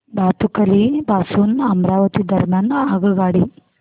भातुकली पासून अमरावती दरम्यान आगगाडी